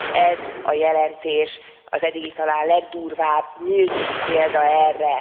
Ez a jelentés az eddigi talán legdurvább, nyílt példa erre.